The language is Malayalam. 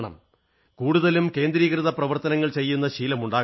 കൂടുതലും കേന്ദ്രീകൃത പ്രവർത്തനങ്ങൾ ചെയ്യുന്ന ശീലമുണ്ടാക്കണം